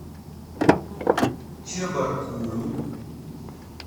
чебаркулю